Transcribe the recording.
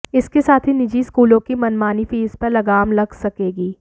इसके साथ ही निजी स्कूलों की मनमानी फीस पर लगाम लग सकेगी